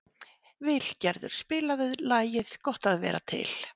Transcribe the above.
Vilgerður, spilaðu lagið „Gott að vera til“.